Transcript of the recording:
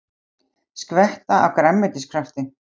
Skvetta af grænmetiskrafti